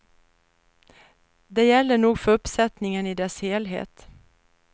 Det gäller nog för uppsättningen i dess helhet.